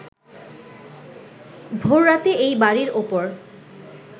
ভোররাতে এই বাড়ীর ওপর